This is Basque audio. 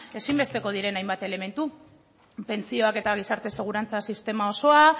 ezinbesteko diren hainbat elementu pentsioak eta gizarte segurantza sistema osoa